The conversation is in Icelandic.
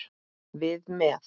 Við með.